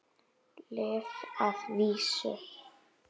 Lyf að vísu.